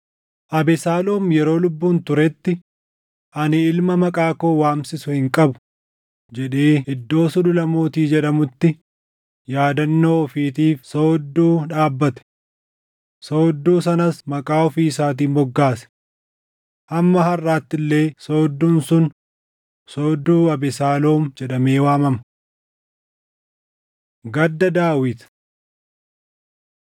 Abesaaloom yeroo lubbuun turetti, “Ani ilma maqaa koo waamsisu hin qabu” jedhee iddoo Sulula Mootii jedhamutti yaadannoo ofiitiif soodduu dhaabbate. Soodduu sanas maqaa ofii isaatiin moggaase. Hamma harʼaatti illee soodduun sun Soodduu Abesaaloom jedhamee waamama. Gadda Daawit